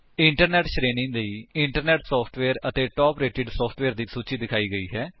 internet ਸ਼੍ਰੇਣੀ ਲਈ internet software ਅਤੇ ਟਾਪ ਰੇਟੇਡ ਸੋਫਟਵੇਅਰ ਦੀ ਸੂਚੀ ਦਿਖਾਈ ਗਈ ਹੈ